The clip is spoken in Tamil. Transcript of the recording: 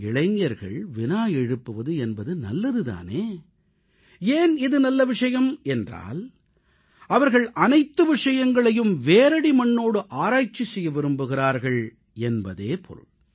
இளைஞர்கள் வினா எழுப்புவது என்பது நல்லது தானே ஏன் இது நல்ல விஷயம் என்றால் அவர்கள் அனைத்து விஷயங்களையும் வேரடி மண்ணோடு ஆராய்ச்சி செய்ய விரும்புகிறார்கள் என்பதே பொருள்